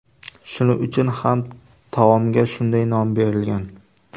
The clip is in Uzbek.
Shuning uchun ham taomga shunday nom berilgan.